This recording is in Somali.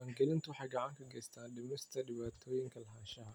Diiwaangelintu waxay gacan ka geysataa dhimista dhibaatooyinka lahaanshaha.